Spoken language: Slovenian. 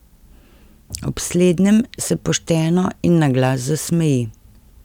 Ob slednjem se pošteno in na glas zasmeji.